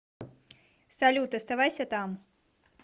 салют оставайся там